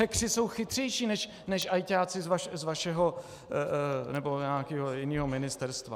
Hackeři jsou chytřejší, než ajťáci z vašeho nebo nějakého jiného ministerstva.